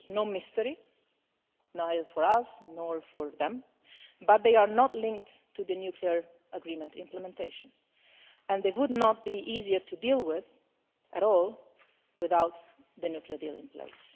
This is no mystery either for us, or for them but they are not linked to the nuclear agreement implementation and they would not be easier to deal with at all without the nuclear deal in place.